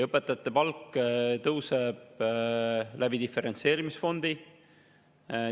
Õpetajate palk tõuseb diferentseerimisfondi kaudu.